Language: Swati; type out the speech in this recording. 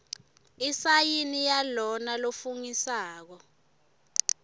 isayini yalona lofungisako